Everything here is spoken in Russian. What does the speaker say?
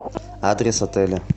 адрес отеля